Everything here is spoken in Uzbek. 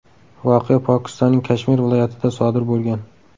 Voqea Pokistonning Kashmir viloyatida sodir bo‘lgan.